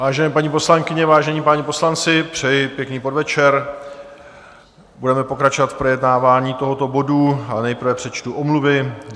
Vážené paní poslankyně, vážení páni poslanci, přeji pěkný podvečer, budeme pokračovat v projednávání tohoto bodu, ale nejprve přečtu omluvy.